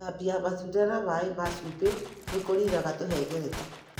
Gũthambia matunda na maĩ ma cumbĩ nĩ kũniina tũhengereta.